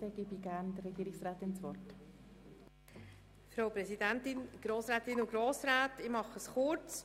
Deshalb gebe ich der Frau Regierungsrätin das Wort.